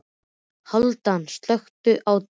Hálfdán, slökktu á niðurteljaranum.